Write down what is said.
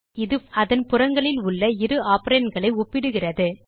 இந்த ஆப்பரேட்டர் அதன் புறங்களில் உள்ள இரு operandகளை ஒப்பிடுகிறது